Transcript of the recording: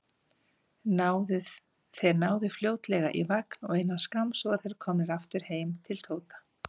Þeir náðu fljótlega í vagn og innan skamms voru þeir komnir aftur heim til Tóta.